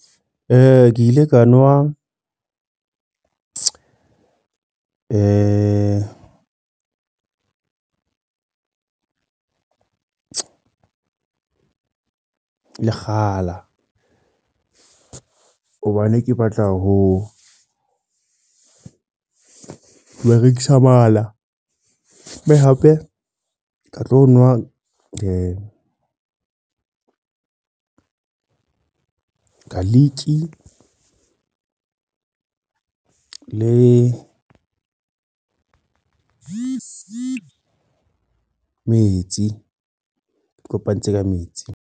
Ke ile ka nwa lekgala. Hobane ke batla ho berekisa mala. Mme hape ke tlo nwa garlic le metsi. Ke kopantse ka metsi.